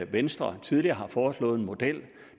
venstre tidligere har foreslået en model